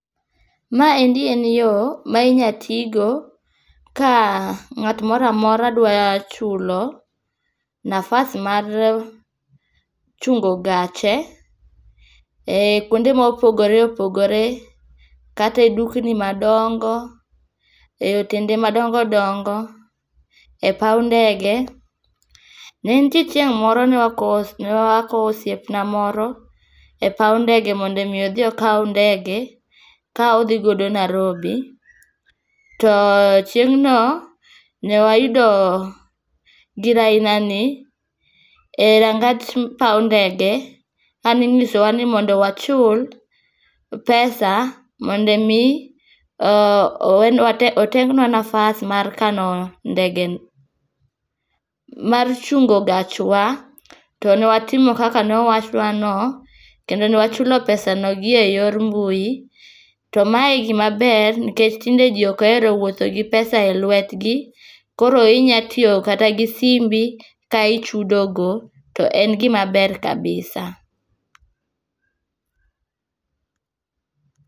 Maendi en yo, ma inya tigo ka ng'at moramora dwa chulo nafas mar chungo gache e kuonde mopogore opogore kata e dukni madongo, e otende madongo dongo, e paw ndege. Ne nitie chieng' moro ne wakowo osiepna moro e paw ndege mondo mi odhi okaw ndege ka odhi godo Narobi. To chieng' no, ne wayudo gir aina ni e rangach paw ndege. Aninyiso wa ni mondo wachul pesa mondo mi owenwa otengwa nafas mar kano ndege, mar chungo gach wa. To ne watimo kaka nowachnwa no. Kendo newachulo pesa no gi e yor mbui. To mae gima ber nikech tinde ji ok ohero wuotho gi pesa e letwgi. Koro inya tiyo kata gi simbi ka ichudo go to en gima ber kabisa.